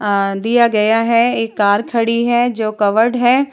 अ दिया गया है एक कार खड़ी है जो कवर्ड है ।